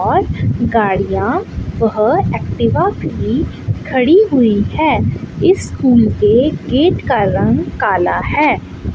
और गाडियां एक्टिवा भी खड़ी हुई है इस स्कूल के गेट का रंग काला है।